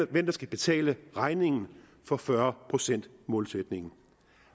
hvem der skal betale regningen for fyrre procentsmålsætningen